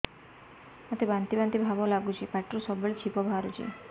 ମୋତେ ବାନ୍ତି ବାନ୍ତି ଭାବ ଲାଗୁଚି ପାଟିରୁ ସବୁ ବେଳେ ଛିପ ବାହାରୁଛି